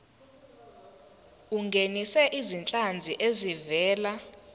ungenise izinhlanzi ezivela